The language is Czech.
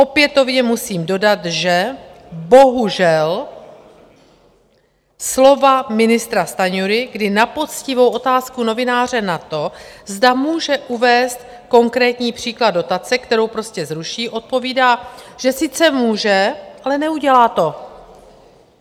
Opětovně musím dodat, že bohužel slova ministra Stanjury, kdy na poctivou otázku novináře na to, zda může uvést konkrétní příklad dotace, kterou prostě zruší, odpovídá, že sice může, ale neudělá to.